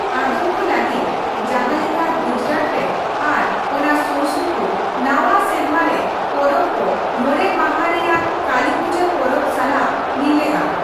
ᱟᱫᱚᱢ ᱠᱚ ᱞᱟᱹᱜᱤᱫ, ᱡᱟᱦᱟᱸ ᱞᱮᱠᱟ ᱜᱩᱡᱽᱨᱟᱴ ᱨᱮ ᱟᱨ ᱚᱱᱟ ᱥᱩᱨᱥᱩᱯᱩᱨ, ᱱᱟᱣᱟ ᱥᱮᱨᱢᱟ ᱨᱮ ᱯᱚᱨᱚᱵ ᱠᱚ ᱢᱚᱲᱮ ᱢᱟᱦᱟ ᱨᱮᱭᱟᱜ ᱠᱟᱞᱤᱯᱩᱡᱟᱹ ᱯᱚᱨᱚᱵ ᱥᱟᱞᱟᱜ ᱢᱤᱞᱟᱹᱜᱼᱟ ᱾